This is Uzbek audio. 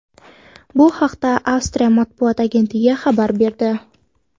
Bu haqda Avstriya matbuot agentligi xabar berdi .